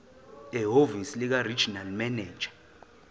ehhovisi likaregional manager